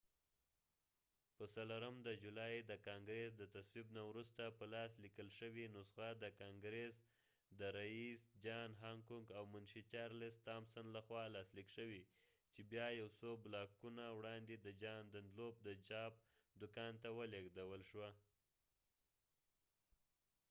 په څلورم د جولای د ګانګرس د تصویب نه وروسته په لاس لیکل شوې نسخه د کانګرس د رئیس جان هانکوک او منشي چارلس تامسن لخوا لاسلیک شوې چې بیا یو څو بلاکونه وړاندې د جان دنلوپ د چاپ دوکان ته ولیږدول شوه